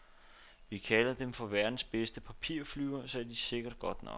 Vi kalder dem for verdens bedste papirflyvere, så det er sikkert godt nok.